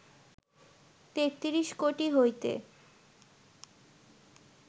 তেত্রিশ কোটি হইতে